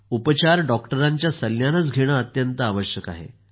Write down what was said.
उपचार डॉक्टरांच्या सल्ल्यानंच घेणं अत्यंत आवश्यक आहे